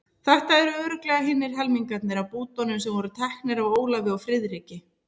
Þetta eru örugglega hinir helmingarnir af bútunum sem voru teknir af Ólafi og Friðriki.